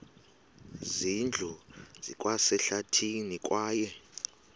zindlu zikwasehlathini kwaye